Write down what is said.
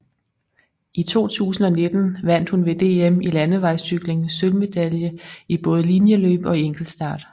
I 2019 vandt hun ved DM i landevejscykling sølvmedalje i både linjeløb og enkeltstart